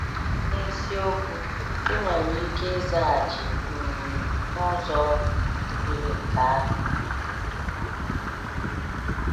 N’isiokwu, ị nwere ike ịzaghachi um n’ụzọ yiri nke ahụ.